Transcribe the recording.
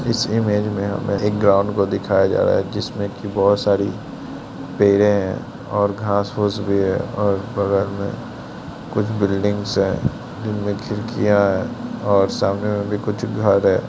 इस इमेज में हमें एक ग्राउंड को दिखाया जा रहा है जिसमें बहुत सारी पेड़े और घास-फूस भी है और बगल में कुछ बिल्डिंग्स है जिनमें खिड़कियां है और सामने में भी घर है।